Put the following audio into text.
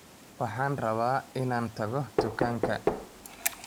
Waxaan rabaa inaan tago dukaanka